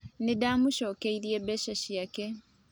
Ninda mũcokeirie mbeca ciake